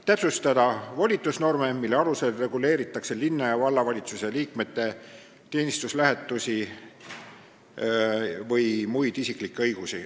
Täpsustada tuleks ka volitusnorme, mille alusel reguleeritakse linna- ja vallavalitsuse liikmete teenistuslähetusi või muid isiklikke õigusi.